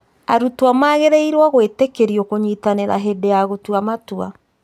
Arutwo magĩrĩirwo gwĩtĩkĩrio kũnyitanĩra hĩndĩ ya gũtua matua